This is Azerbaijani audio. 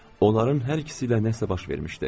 Onların hər ikisi ilə nəsə baş vermişdi.